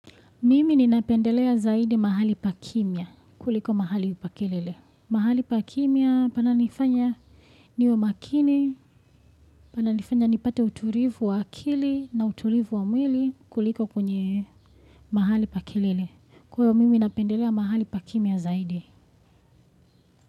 Mimi ninapendelea zaidi mahali pa kimia kuliko mahali pa kelele. Mahali pa kimia pananifanya niwe makini, pananifanya nipate uturivu wa akili na uturivu wa mwili kuliko kwenye mahali pa kelele. Kwa hivyo mimi napendelea mahali pa kimia zaidi.